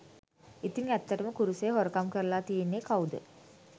ඉතිං ඇත්තටම කුරුසය හොරකම් කරලා තියෙන්නේ කවුද?